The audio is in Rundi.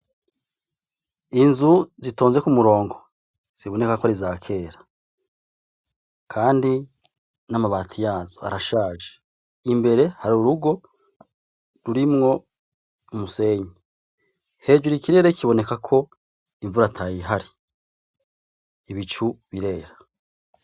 Inzu zitonze kumurongo ,zibonekako arizakera, kandi n'amabati yazo arashaje , imbere har' urugo rurimwo umusenyi, hejuru ikirere kibonekako imvura atayihari. Ibicu birera.